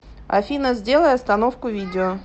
афина сделай остановку видео